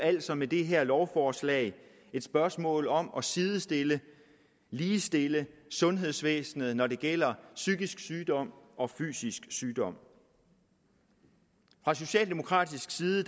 altså med det her lovforslag et spørgsmål om at sidestille ligestille sundhedsvæsenet når det gælder psykisk sygdom og fysisk sygdom fra socialdemokratisk side